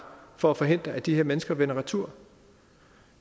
for at forhindre at de her mennesker vender retur